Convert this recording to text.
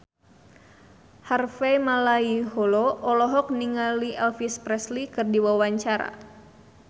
Harvey Malaiholo olohok ningali Elvis Presley keur diwawancara